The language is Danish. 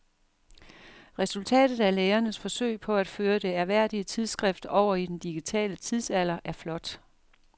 Resultatet af lægernes forsøg på at føre det ærværdige tidsskrift over i den digitale tidsalder er flot.